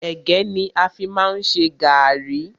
Ẹ̀gẹ́ ni a fi má ń ṣe gàrrí.